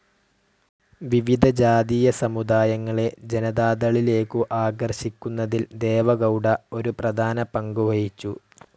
വിവിധ ജാതീയ സമുദായങ്ങളെ ജനതാദളിലേക്ക് ആകർഷിക്കുന്നതിൽ ദേവഗൗഡ ഒരു പ്രധാന പങ്കുവഹിച്ചു.